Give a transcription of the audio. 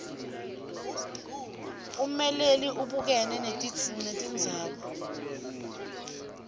ummeleli ubukene netindzaba